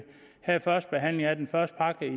havde førstebehandlingen af den første pakke